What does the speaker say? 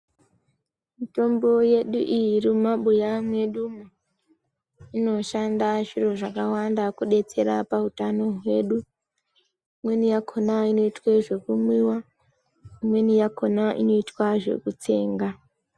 Mitombo yedu iyi iri mumabuya medumo, inoshanda zviro zvakawanda kudetserwa pautano hwedu. Imweni yakhona inoitwe zvekumwiwa, imweni yakhona inoitwa zvokutsenga,